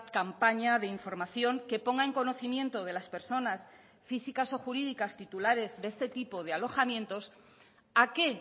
campaña de información que ponga en conocimiento de las personas físicas o jurídicas titulares de este tipo de alojamientos a qué